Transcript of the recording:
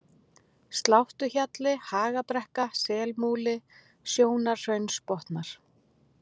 Sláttuhjalli, Hagabrekka, Selmúli, Sjónarhraunsbotnar